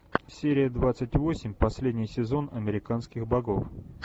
серия двадцать восемь последний сезон американских богов